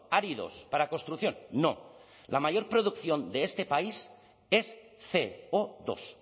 áridos para construcción no la mayor producción de este país es ce o dos